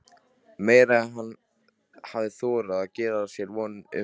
Meira en hann hafði þorað að gera sér vonir um.